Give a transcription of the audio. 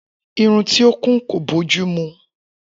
Irun tí o kún kò bójúmu